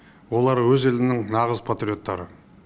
олар өз елінің нағыз патриоттары